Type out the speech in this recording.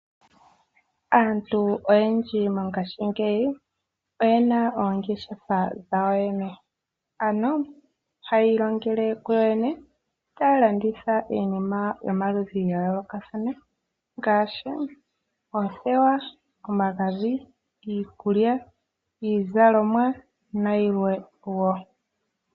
Aantu oyendji mongashingeyi oyena oongeshefa dhwawo yene aano hayi longele ku yoyene tayi landitha iinima yomaludhi gayoloka thana ngaashi oothewa, omagadhi, iikulya, iizalomwa na yilwe wo.